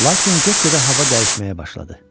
Lakin get-gedə hava dəyişməyə başladı.